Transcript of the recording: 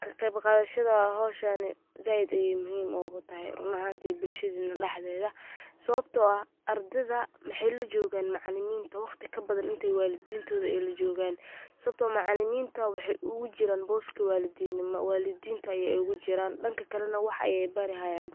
Ka qeyb qadashada hawshani zaaid ayey muhim ogu tahay run ahantii bulshadeena dhaxdeeda, sawabtoo ah ,ardeyda waxey la jogaan macaliminta waqti ka badan intey walidintooda ay la jogaan ,sawabtoo macaliminta maxey ogu jiraan booska walidinnima, walidiinta yey ogu jiraan, dhanka kale na wax ayey bari hayaan.